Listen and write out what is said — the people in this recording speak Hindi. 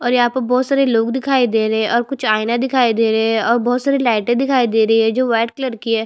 और यहाँ पर बहुत सारे लोग दिखाई दे रहे है और कुछ आईना दिखाई दे रहे है और बहुत सारी लाइटें दिखाई दे रही है जो व्हाइट कलर की है।